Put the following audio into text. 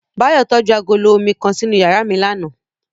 Bayo tọju agolo omi kan sinu yara mi làná